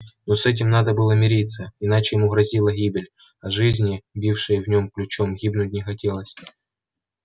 но с этим надо было мириться иначе ему грозила гибель а жизни бившей в нем ключом гибнуть не хотелось